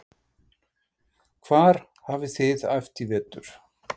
Hvar hafið þið æft í vetur?